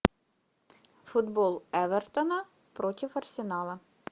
футбол эвертона против арсенала